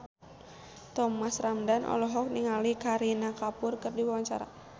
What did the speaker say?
Thomas Ramdhan olohok ningali Kareena Kapoor keur diwawancara